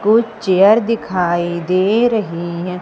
कुछ चेयर दिखाई दे रहीं हैं।